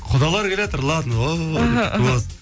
құдалар келатыр ладно ооо деп күтіп аласың